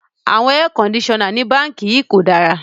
The air conditioners in this bank is bad